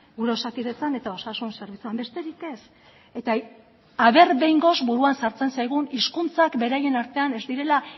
gure osakidetzan eta osasun zerbitzuan besterik ez eta a ber behingoz buruan sartzen zaigun hizkuntzak beraien artean ez direla